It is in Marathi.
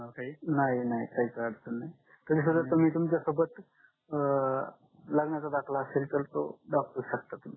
नाही नाही काही अडचण नाही तरी सुद्धा तुम्ही तुमच्या सोबत अं लग्नाचा दाखला असेल तर तो दाखवू शकता तुम्ही